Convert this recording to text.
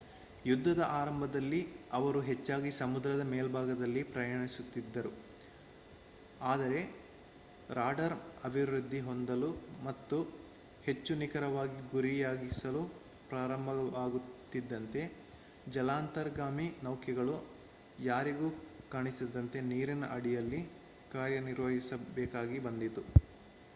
ಯುದ್ಧದ ಆರಂಭದಲ್ಲಿ ಅವರು ಹೆಚ್ಚಾಗಿ ಸಮುದ್ರದ ಮೇಲ್ಭಾಗದಲ್ಲಿ ಪ್ರಯಾಣಿಸುತ್ತಿದ್ದರು ಆದರೆ ರಾಡಾರ್ ಅಭಿವೃದ್ಧಿ ಹೊಂದಲು ಮತ್ತು ಹೆಚ್ಚು ನಿಖರವಾಗಿ ಗುರಿಯಾಗಿಸಲು ಪ್ರಾರಂಭವಾಗುತ್ತಿದ್ದಂತೆ ಜಲಾಂತರ್ಗಾಮಿ ನೌಕೆಗಳು ಯಾರಿಗೂ ಕಾಣಿಸದಂತೆ ನೀರಿನ ಅಡಿಯಲ್ಲಿ ಕಾರ್ಯನಿರ್ವಹಿಸಬೇಕಾಗಿ ಬಂದಿತು